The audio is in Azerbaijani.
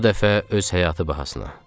Bu dəfə öz həyatı bahasına.